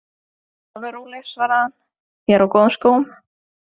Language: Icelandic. Vertu alveg róleg, svaraði hann, ég er á góðum skóm.